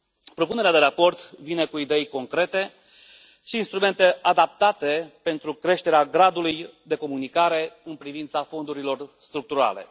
Propunerea de raport vine cu idei concrete și instrumente adaptate pentru creșterea gradului de comunicare în privința fondurilor structurale.